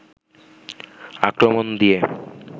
আক্রমণ দিয়ে